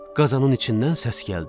Qazanın içindən səs gəldi.